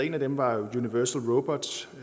en af dem var universal robots